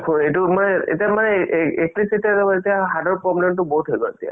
এতিয়া heart ৰ problem বহুত হয় গ'ল এতিয়া